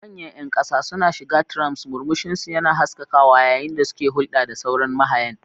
Manyan ƴan ƙasa suna shiga trams, murmushinsu yana haskakawa yayin da suke hulɗa da sauran mahayan.